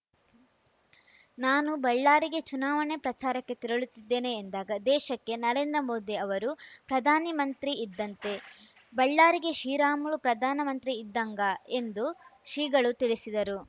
ನಾನು ಬಳ್ಳಾರಿಗೆ ಚುನಾವಣೆ ಪ್ರಚಾರಕ್ಕೆ ತೆರಳುತ್ತಿದ್ದೇನೆ ಎಂದಾಗ ದೇಶಕ್ಕೆ ನರೇಂದ್ರ ಮೋದಿ ಅವರು ಪ್ರಧಾನಮಂತ್ರಿ ಇದ್ದಂತೆ ಬಳ್ಳಾರಿಗೆ ಶ್ರೀರಾಮುಲು ಪ್ರಧಾನಮಂತ್ರಿ ಇದ್ದಂಗ ಎಂದು ಶ್ರೀಗಳು ತಿಳಿಸಿದರು